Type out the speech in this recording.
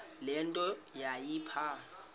le nto yayipha